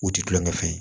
U ti kulonkɛ fɛn ye